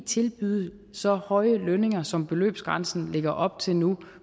tilbyde så høje lønninger som beløbsgrænsen lægger op til nu